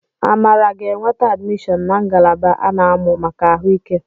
Amara ga-enweta admishọn na ngalaba a na-amụ maka ahu ike